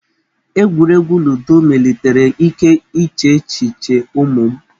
Egwuregwu ludo melitere ike iche echiche ụmụ m.